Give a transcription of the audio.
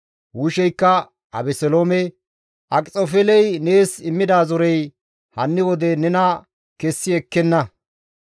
Husheykka Abeseloome, «Akxofeeley nees immida zorey hanni wode nena kessi ekkenna.